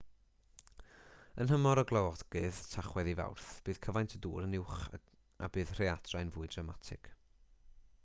yn nhymor y glawogydd tachwedd i fawrth bydd cyfaint y dŵr yn uwch a bydd y rhaeadrau'n fwy dramatig